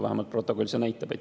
Vähemalt protokoll seda näitab.